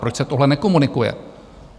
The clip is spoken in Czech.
Proč se tohle nekomunikuje?